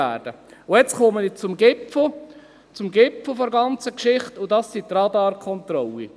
Und jetzt komme ich zum Gipfel der ganzen Geschichte, und das sind die Radarkontrollen.